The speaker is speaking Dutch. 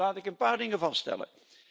Laat ik een paar dingen vaststellen.